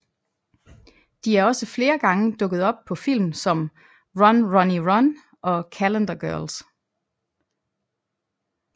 De er også flere gange dukket op på film som Run Ronnie Run og Calendar Girls